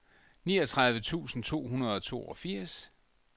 niogtredive tusind to hundrede og toogfirs